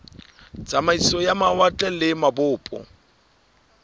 tsamaiso ya mawatle le mabopo